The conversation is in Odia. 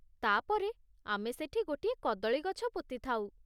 ତା'ପରେ ଆମେ ସେଠି ଗୋଟିଏ କଦଳୀ ଗଛ ପୋତିଥାଉ ।